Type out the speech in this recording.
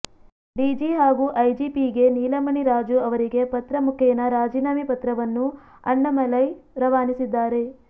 DG ಹಾಗೂ ಐಜಿಪಿಗೆ ನೀಲಮಣಿ ರಾಜು ಅವರಿಗೆ ಪತ್ರ ಮುಖೇನ ರಾಜೀನಾಮೆ ಪತ್ರವನ್ನು ಅಣ್ಣಾಮಲೈ ರವಾನಿಸಿದ್ದಾರೆ